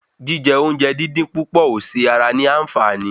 Jíjẹ oúnjẹ dín dín púpọ̀ ò ṣe ara ní anfààní